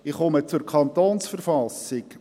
Ich komme zur Verfassung des Kantons Bern (KV).